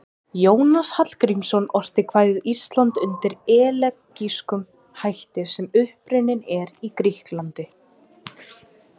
Jónas Hallgrímsson orti kvæðið Ísland undir elegískum hætti sem upprunninn er í Grikklandi.